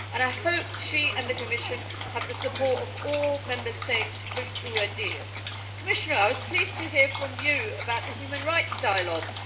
I hope that she and the Commission have the support of all Member States to push through a deal. Commissioner, I was pleased to hear from you about the human rights dialogue.